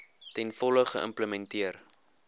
ten volle geïmplementeer